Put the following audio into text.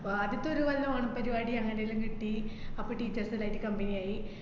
ആദ്യത്തെ ഒരു കൊല്ലം ഓണം പരുപാടി അങ്ങനെ എല്ലോ കിട്ടി അപ്പോ teachers എല്ലോ ആയിറ്റ് company ആയി